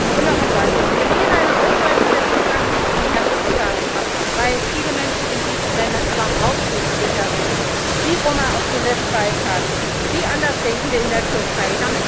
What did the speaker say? Und noch etwas Wir lehnen eine Ausweitung der sogenannten sicheren Herkunftsstaaten ab, weil viele Menschen in diesen Ländern überhaupt nicht sicher sind, wie Roma auf dem Westbalkan, wie Andersdenkende in der Türkei.